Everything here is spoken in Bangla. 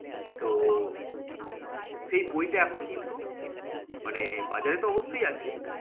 তো সেই বইটা এখন কিন্তু মানে বাজারে তো অবশ্যই আছে।